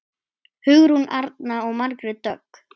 Hugrún Arna og Margrét Dögg.